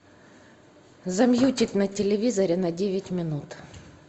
замьютить на телевизоре на девять минут